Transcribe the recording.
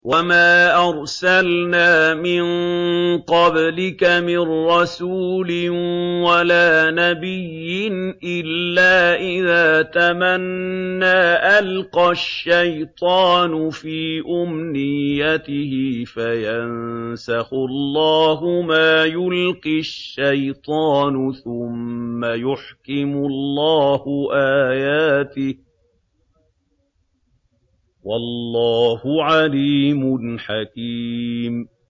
وَمَا أَرْسَلْنَا مِن قَبْلِكَ مِن رَّسُولٍ وَلَا نَبِيٍّ إِلَّا إِذَا تَمَنَّىٰ أَلْقَى الشَّيْطَانُ فِي أُمْنِيَّتِهِ فَيَنسَخُ اللَّهُ مَا يُلْقِي الشَّيْطَانُ ثُمَّ يُحْكِمُ اللَّهُ آيَاتِهِ ۗ وَاللَّهُ عَلِيمٌ حَكِيمٌ